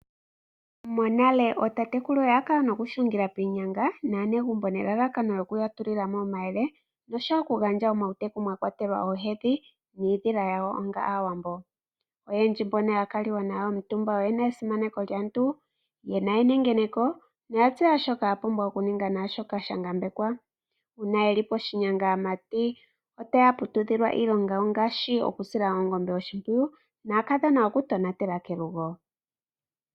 Monale ootatekulu oya kala noku hungila piinyanga naanegumbo nelalakano lyokuya tulilamo omayele, oshowo oku gandja omauteku mwa kwatelwa oohedhi niidhila yawo onga aawambo. Oyendji mbono ya kaliwa nayo omutumba oyena esimaneko lyaantu, yena enengeneko noya tseya shoka ya pumbwa okuninga naashoka sha ngambekwa. Uuna yeli poshinyanga aamati otaya putudhilwa iilonga ngaashi okusila oongombe oshimpwiyu naakadhona oku tonatela kelugo.